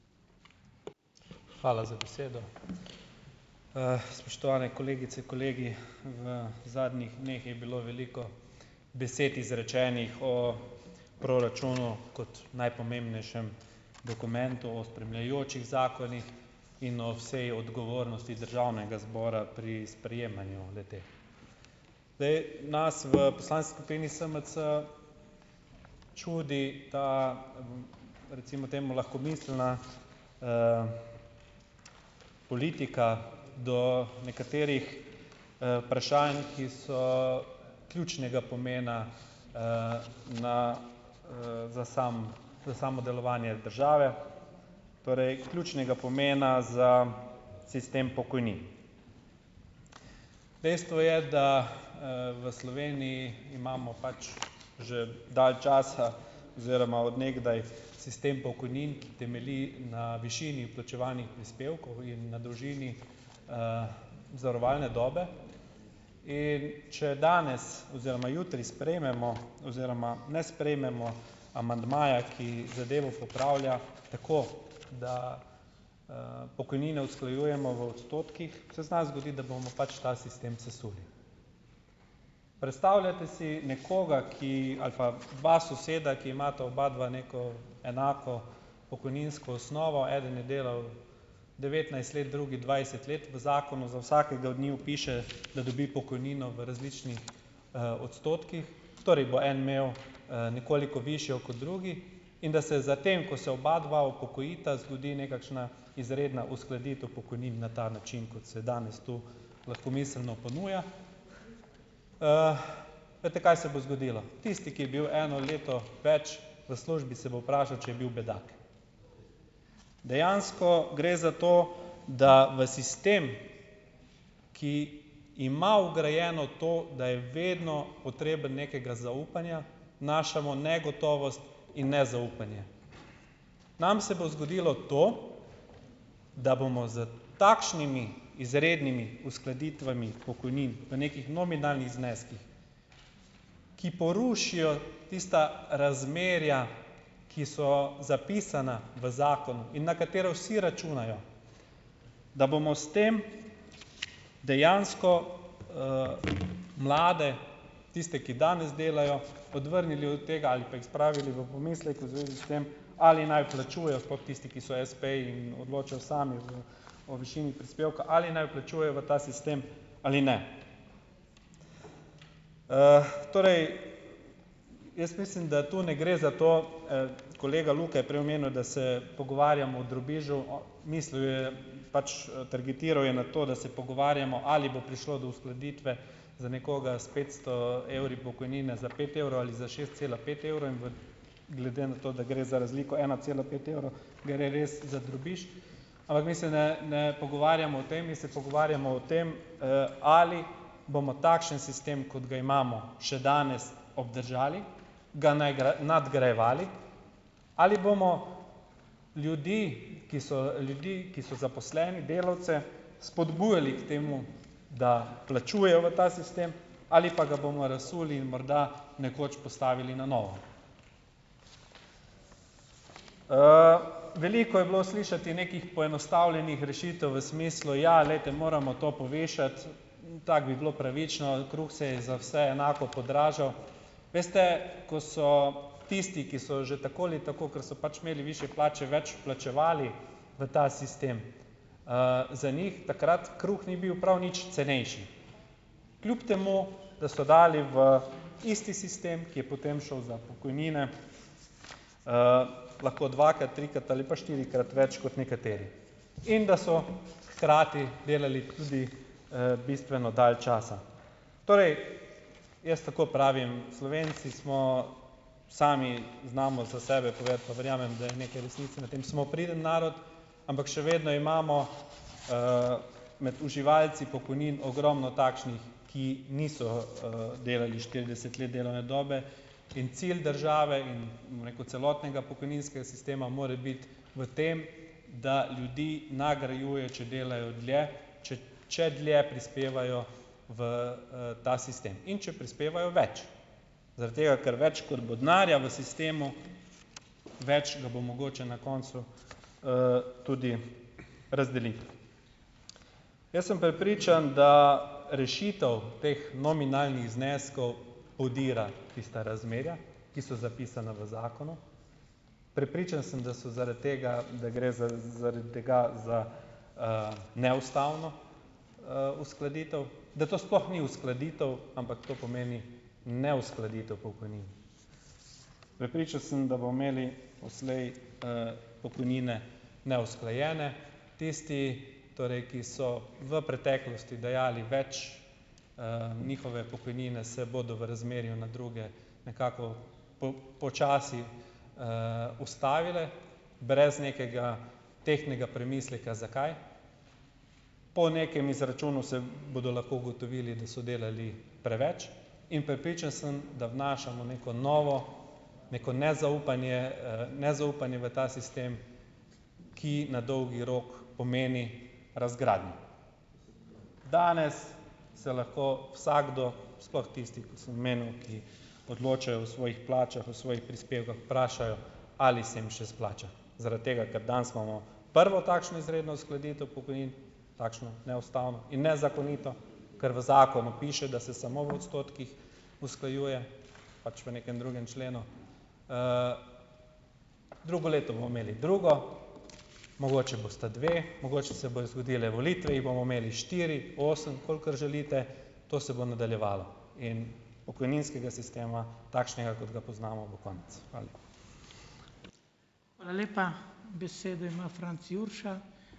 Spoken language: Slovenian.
Hvala za besedo. spoštovane kolegice, kolegi. V zadnjih dneh je bilo veliko besed izrečenih o proračunu kot najpomembnejšem dokumentu, o spremljajočih zakonih in o vsaj odgovornosti državnega zbora pri sprejemanju le-te. Zdaj, nas v poslanski skupini SMC čudi ta, recimo temu lahkomiselna, politika do nekaterih, vprašanj, ki so ključnega pomena, na, za za samo delovanje države, torej ključnega pomena za sistem pokojnin. Dejstvo je, da, v Sloveniji imamo pač že dal časa oziroma od nekdaj sistem pokojnin, ki temelji na višini vplačevanih prispevkov in na dolžini, zavarovalne dobe. In če danes oziroma jutri sprejmemo oziroma ne sprejmemo amandmaja, ki zadevo popravlja tako, da, pokojnine usklajujemo v odstotkih, se zna zgoditi, da bomo pač ta sistem sesuli. Predstavljajte si nekoga, ki, ali pa dva soseda, ki imata obadva neko enako pokojninsko osnovo, eden je delal devetnajst let, drugi dvajset let. V zakonu za vsakega od njiju piše, da dobi pokojnino v različnih, odstotkih, torej bo en imel, nekoliko višjo kot drugi. In da se za tem, ko se obadva upokojita, zgodi nekakšna izredna uskladitev pokojnin na ta način, kot se danes tu lahkomiselno ponuja. veste, kaj se bo zgodilo? Tisti, ki je bil eno leto več v službi, se bo vprašal, če je bil bedak. Dejansko gre za to, da v sistem, ki ima vgrajeno to, da je vedno potreben nekega zaupanja, vnašamo negotovost in nezaupanje. Nam se bo zgodilo to, da bomo s takšnimi izrednimi uskladitvami pokojnin v nekih nominalnih zneskih, ki porušijo tista razmerja, ki so zapisana v zakonu in na katera vsi računajo, da bomo s tem dejansko, mlade, tiste, ki danes delajo, odvrnili od tega ali pa jih spravili v pomisleke v zvezi s tem, ali naj vplačujejo, sploh tisti, ki so espeji in odločajo sami o višini prispevka, ali naj vplačujejo v ta sistem ali ne. torej jaz mislim, da to ne gre za to, kolega Luka je prej omenil, da se pogovarjamo o drobižu, mislil je, pač, targetiral je na to, da se pogovarjamo, ali bo prišlo do uskladitve za nekoga s petsto evri pokojnine za pet evrov ali za šest cela pet evrov in v glede na to, da gre za razliko ena cela pet evrov, gre res za drobiž. Ampak mi se ne ne pogovarjamo o tem, mi se pogovarjamo o tem, ali bomo takšen sistem, kot ga imamo še danes, obdržali, ga nadgrajevali, ali bomo ljudi, ki so, ljudi, ki so zaposleni, delavce spodbujali k temu, da plačujejo v ta sistem ali pa ga bomo razsuli in morda nekoč postavili na novo. veliko je bilo slišati nekih poenostavljenih rešitev v smislu: "Ja, glejte, moramo to povišati, tako bi bilo pravično, kruh se je za vse enako podražil." Veste, ko so tisti, ki so že tako ali tako, ker so pač imeli višje plače, več vplačevali v ta sistem, za njih takrat kruh ni bil prav nič cenejši. Kljub temu, da so dali v isti sistem, ki je potem šel za pokojnine, lahko dvakrat, trikrat ali pa štirikrat več, kot nekateri. In da so hkrati delali tudi, bistveno dal časa. Torej, jaz tako pravim, Slovenci smo, sami znamo za sebe povedati, pa verjamem, da je nekaj resnice na tem. Smo priden narod, ampak še vedno imamo, med uživalci pokojnin ogromno takšnih, ki niso, delali štirideset let delovne dobe, in cilj države in, bom rekel, celotnega pokojninskega sistema mora biti v tem, da ljudi nagrajuje, če delajo dlje, če če dlje prispevajo v, ta sistem. In če prispevajo več. Zaradi tega, ker več, kot bo denarja v sistemu, več ga bo mogoče na koncu, tudi razdeliti. Jaz sem prepričan, da rešitev teh nominalnih zneskov podira tista razmerja, ki so zapisana v zakonu. Prepričan sem, da so zaradi tega, da gre zaradi tega za, neustavno, uskladitev, da to sploh ni uskladitev, ampak to pomeni neuskladitev pokojnin. Prepričan sem, da bomo imeli odslej, pokojnine neusklajene. Tisti torej, ki so v preteklosti dajali več, njihove pokojnine se bodo v razmerju na druge nekako počasi, ustavile, brez nekega tehtnega premisleka, zakaj. Po nekem izračunu se bodo lahko ugotovili, da so delali preveč, in prepričan sem, da vnašamo neko novo, neko nezaupanje, nezaupanje v ta sistem, ki na dolgi rok pomeni razgradnjo. Danes se lahko vsakdo, sploh tisti, ko sem omenil, ki odločajo o svojih plačah, o svojih prispevkih, vprašajo, ali se jim še splača. Zaradi tega, ker danes imamo prvo takšno izredno uskladitev pokojnin, takšno neustavno in nezakonito, kar v zakonu piše, da se samo v odstotkih usklajuje, pač v nekem drugem členu. drugo leto bomo imeli drugo, mogoče bosta dve, mogoče se bodo zgodile volitve, jih bomo imeli štiri, osem, kolikor želite. To se bo nadaljevalo. In pokojninskega sistema, takšnega, kot ga poznamo, bo konec. Hvala lepa.